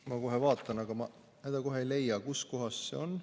Ma kohe vaatan, aga ma kohe ei leia, kuskohas see on.